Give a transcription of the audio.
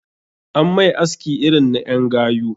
An mai aski irin na en gayu